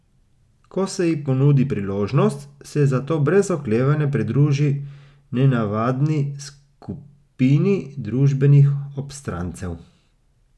Ko se ji ponudi priložnost, se zato brez oklevanja pridruži nenavadni skupini družbenih obstrancev.